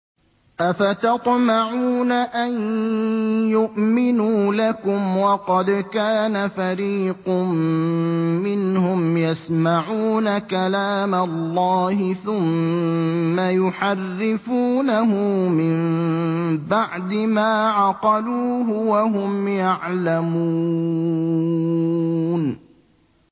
۞ أَفَتَطْمَعُونَ أَن يُؤْمِنُوا لَكُمْ وَقَدْ كَانَ فَرِيقٌ مِّنْهُمْ يَسْمَعُونَ كَلَامَ اللَّهِ ثُمَّ يُحَرِّفُونَهُ مِن بَعْدِ مَا عَقَلُوهُ وَهُمْ يَعْلَمُونَ